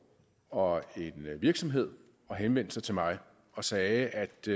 og en virksomhed henvendte sig til mig og sagde at de